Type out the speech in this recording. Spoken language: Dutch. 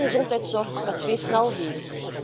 We willen geen gezondheidszorg met twee snelheden.